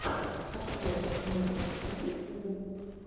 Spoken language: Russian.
обзор мирби в ютюбе